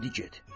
İndi get.